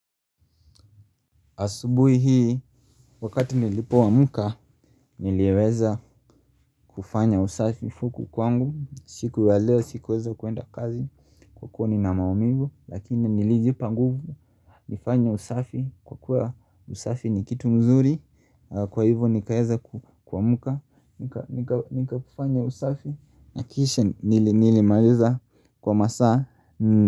Asubuhi hii, wakati nilipo amka, niliwaza kufanya usafi huku kwangu. Siku ya leo, sikuweza kwenda kazi. Kwa kuwa nina maumivu, lakini nilijipa nguvu. Nifanya usafi, kwa kuwa usafi ni kitu mzuri. Kwa hivo, nikaeza kuamka. Nikafanya usafi, nakisha nilimaliza kwa masaa.